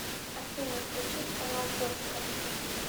афина включить канал точка